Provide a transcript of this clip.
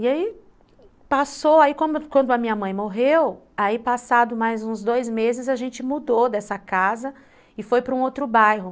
E aí passou, aí quando quando a minha mãe morreu, aí passado mais uns dois meses a gente mudou dessa casa e foi para um outro bairro.